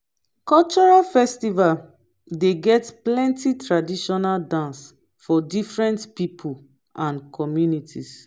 cultural festival dey get plenty traditional dance for different pipo and communities